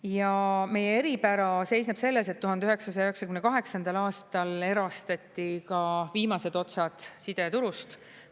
Ja meie eripära seisneb selles, et 1998. aastal erastati ka viimased otsad sideturust.